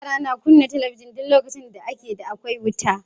Yara na kunna talabijin duk lokacin ake da akwai wuta.